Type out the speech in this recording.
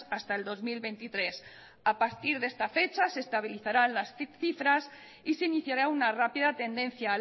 hasta el dos mil veintitrés a partir de esta fecha se estabilizarán las cifras y se iniciará una rápida tendencia